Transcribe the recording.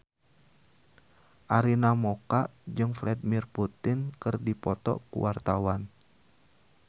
Arina Mocca jeung Vladimir Putin keur dipoto ku wartawan